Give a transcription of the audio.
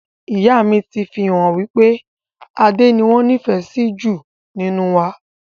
Ìyá mi ti fi hàn wípé Adé ni wọn nifẹ si ju nínú wa